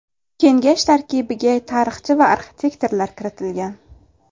Kengash tarkibiga tarixchi va arxitektorlar kiritilgan.